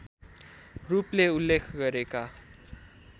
रूपले उल्लेख गरेका